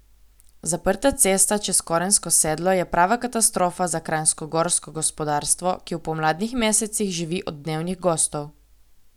Zaprta cesta čez Korensko sedlo je prava katastrofa za kranjskogorsko gospodarstvo, ki v pomladnih mesecih živi od dnevnih gostov.